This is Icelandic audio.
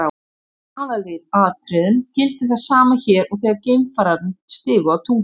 Í aðalatriðum gildir það sama hér og þegar geimfararnir stigu á tunglið.